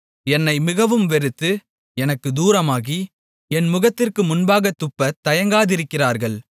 என்னை மிகவும் வெறுத்து எனக்குத் தூரமாகி என் முகத்திற்கு முன்பாகத் துப்பத் தயங்காதிருக்கிறார்கள்